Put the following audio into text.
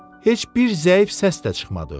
Heç bir zəif səs də çıxmadı.